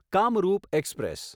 Kamrup express